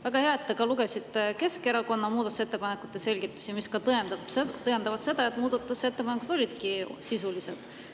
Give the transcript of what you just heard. Väga hea, et te siiski lugesite Keskerakonna muudatusettepanekute selgitusi, mis tõendavad seda, et muudatusettepanekud olid sisulised.